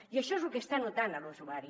i això és el que està notant l’usuari